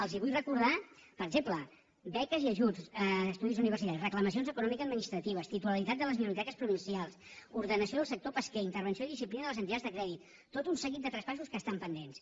els vull recordar per exemple beques i ajuts estudis universitaris reclamacions economicoadministratives titularitat de les biblioteques provincials ordenació del sector pesquer intervenció i disciplina de les entitats de crèdit tot un seguit de traspassos que estan pendents